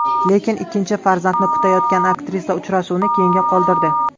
Lekin ikkinchi farzandini kutayotgan aktrisa uchrashuvni keyinga qoldirdi.